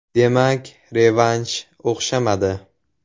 Demak, revansh o‘xshamadi.